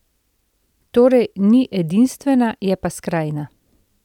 Torej, ni edinstvena, je pa skrajna.